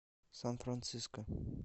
сан франциско